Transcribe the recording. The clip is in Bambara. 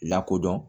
Lakodɔn